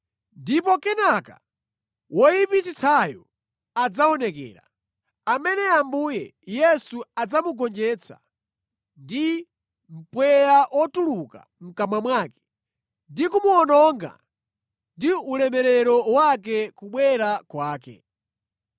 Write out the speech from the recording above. Ndipo kenaka woyipitsitsayo adzaonekera, amene Ambuye Yesu adzamugonjetsa ndi mpweya otuluka mʼkamwa mwake ndi kumuwononga ndi ulemerero wa kubwera kwake.